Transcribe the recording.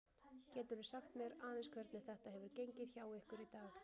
Geturðu sagt mér aðeins hvernig þetta hefur gengið hjá ykkur í dag?